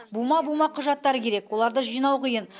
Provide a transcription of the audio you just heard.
бума бума құжаттар керек оларды жинау қиын